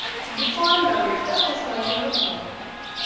Yuqori namlikda po‘stlog‘i yemiriladi.